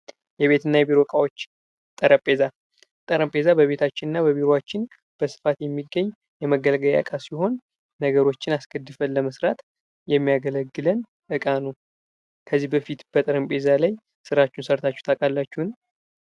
የቤትና የቢሮ እቃዎች ጠረጴዛ በቤታችን እና በቢሮዎችን በስፋት የሚገኝ የመገልግያ መሳሪያ ሲሆን ነገሮችን አስገድፈን ለመስራት የሚያገለግልን ዕቃ ነው። ከዚህ በፊት በጠረጴዛ ላይ ስራችሁ ሰርታችሁ ታውቃላችሁ?